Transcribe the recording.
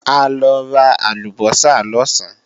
A lọ ra àlùbọ́sà lọ̀sán